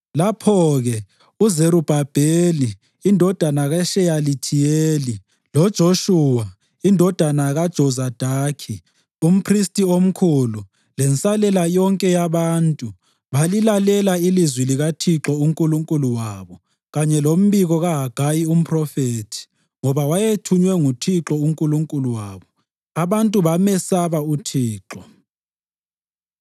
Lapho-ke uZerubhabheli, indodana kaSheyalithiyeli, loJoshuwa, indodana kaJozadaki, umphristi omkhulu lensalela yonke yabantu balilalela ilizwi likaThixo uNkulunkulu wabo kanye lombiko kaHagayi umphrofethi ngoba wayethunywe nguThixo uNkulunkulu wabo. Abantu bamesaba uThixo.